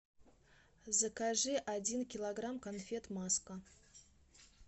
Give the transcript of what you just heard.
закажи один килограмм конфет маска